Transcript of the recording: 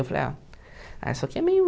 Eu falei, ah, ah isso aqui é meio...